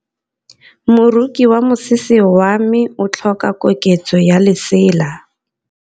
Moroki wa mosese wa me o tlhoka koketsô ya lesela.